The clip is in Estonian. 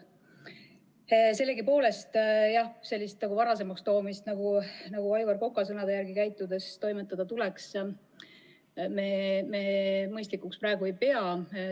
Sellegipoolest, jah, sellist varasemaks toomist, nagu Aivar Koka sõnade järgi käitudes teha tuleks, me praegu mõistlikuks ei pea.